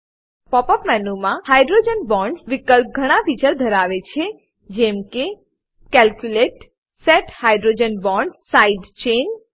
pop up મેનુમા hydrogen bonds વિકલ્પ ઘણા ફીચર ધરાવે છે જેમકે calculate set hydrogen bonds side chain